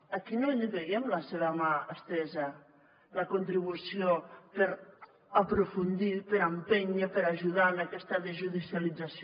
aquí no l’hi veiem la seva mà estesa la contribució per aprofundir per empènyer per ajudar en aquesta desjudicialització